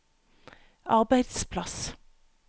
arbeidsplass